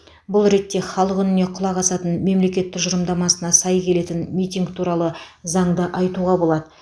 бұл ретте халық үніне құлақ асатын мемлекет тұжырымдамасына сай келетін митинг туралы заңды айтуға болады